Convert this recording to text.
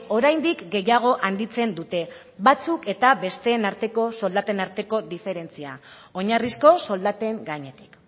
oraindik gehiago handitzen dute batzuk eta besteen arteko soldaten arteko diferentzia oinarrizko soldaten gainetik